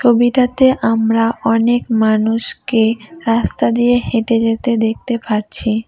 ছবিটাতে আমরা অনেক মানুষকে রাস্তা দিয়ে হেঁটে যেতে দেখতে পারছি।